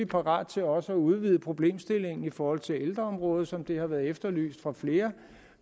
parat til også at udvide problemstillingen i forhold til ældreområdet som det har været efterlyst af flere